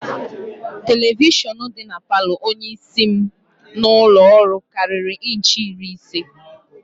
Televishọn dị na palọ onyeisi m n'ụlọọrụ karịrị inchi iri ise